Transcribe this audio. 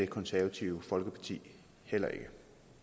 konservative folkeparti heller ikke kan